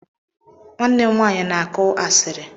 Nwanne m nwanyị na-akụ asịrị